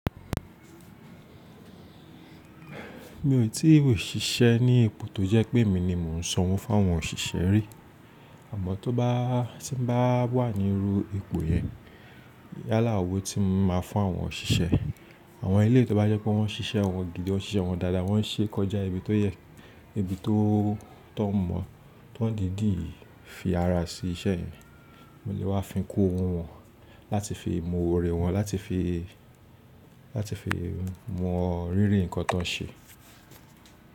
Mi ò tí ì òṣìṣẹ́ ní ipò tó jẹ́ pé emi ni mò ń sọ òwó fún àwọn òṣìṣẹ́ rí. Àmọ́ tó bá tí ń bá wà níru ipò yẹn, yálà òwó tí mo máa ń fún àwọn òṣìṣẹ́. Àwọn eléyíí tí ó bá jẹ́ pé wọ́n ń ṣiṣẹ́ wọn gidi, wọ́n ń ṣiṣẹ́ wọn dáadáa, wọ́n ń ṣe é kọjá ibi tó yẹ, ibi tó tọ́ mọ́, tó ń dìdíì fi ara sí iṣẹ́ yẹ̀n, mo lè wá fi ń kó ohun wọn láti fi mo òórè wọn, láti fi, láti fi mu rírì ǹkan tó ń ṣe.